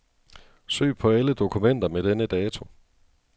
Søg på alle dokumenter med denne dato.